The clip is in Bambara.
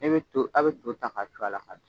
E bɛ to aw bɛ to ta k'a su a la k'a dun